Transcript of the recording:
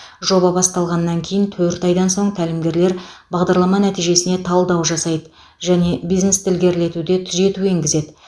жоба басталғаннан кейін төрт айдан соң тәлімгерлер бағдарлама нәтижесіне талдау жасайды және бизнесті ілгерілетуде түзету енгізеді